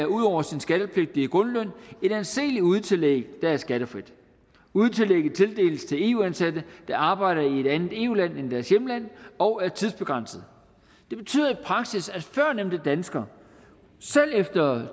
ud over sin skattepligtige grundløn et anseligt udetillæg der er skattefrit udetillægget tildeles til eu ansatte der arbejder i et andet eu land end deres hjemland og er tidsbegrænset det betyder i praksis at førnævnte dansker selv efter